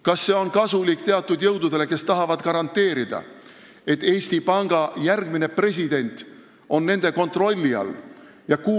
Kas see on kasulik teatud jõududele, kes tahavad garanteerida, et Eesti Panga järgmine president on nende kontrolli all?